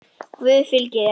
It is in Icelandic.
Guð fylgi þér.